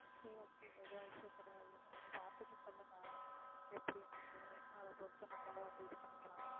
சரி okay எதுவும் issue கிடையாது நீங்க பாத்துட்டு சொல்லுங்க எப்படின்னுட்டு அதை பொறுத்து நம்மளும் வந்து இது பண்ணிக்கலாம்